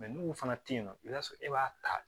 n'u fana tɛ yen nɔ i b'a sɔrɔ e b'a ta